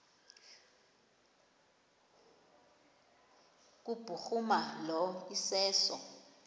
kubhuruma lo iseso